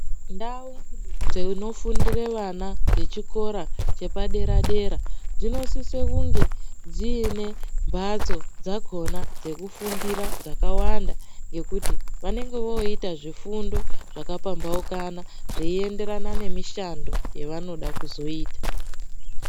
Ndau dzinofundire vana dzechikora chepadera dera dzinosise kunge dziine mbatso dzakona dzekufundira dzakawanda ngekuti vanenge voita zvifundo zvakambaukana zveienderana nemishando yavanoda kuzoita.